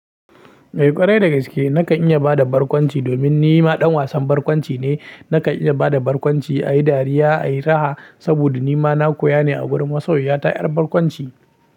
Eh ƙwarai da gaske, nakan iya ba da barkwanci domin ni ma ɗan wasan barkwanci ne. Nakan iya ba da barkwanci, a yi dariya, a yi raha saboda ni ma na koya ne a wurin masoya ta ƴar barkwanci.